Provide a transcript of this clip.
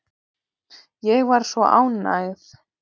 Ég var svo ánægð.